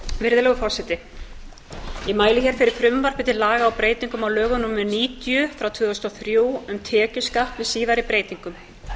virðulegur forseti ég mæli hér fyrir frumvarp til laga um breytingu á lögum númer níutíu tvö þúsund og þrjú um tekjuskatt með síðari breytingum